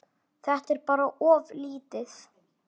Þetta er bara of lítið.